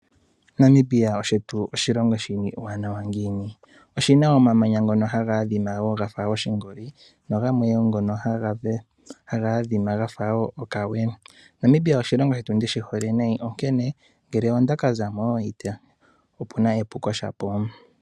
Namibia shetu oshilongo shimwe oshiwanawa ngiini oshina omamanya ngono haga adhima wo gafa oshingoli nogamwe wo ngono haga adhima gafa okawe Namibia oshilongo shetu ndishi hole nayi onkene ngele onda ka zamo moNamibia opuna epuko shapo.